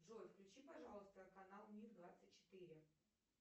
джой включи пожалуйста канал мир двадцать четыре